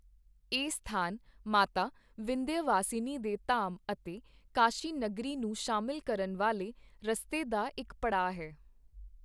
ਇਹ ਸਥਾਨ ਮਾਤਾ ਵਿੰਧਯਵਾਸਿਨੀ ਦੇ ਧਾਮ ਅਤੇ ਕਾਸ਼ੀ ਨਗਰੀ ਨੂੰ ਸ਼ਾਮਿਲ ਕਰਨ ਵਾਲੇ ਰਸਤੇ ਦਾ ਇੱਕ ਪੜਾਅ ਹੈ।